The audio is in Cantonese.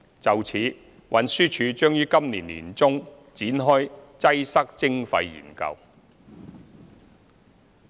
就此，運輸署將於今年年中展開"擠塞徵費"研究。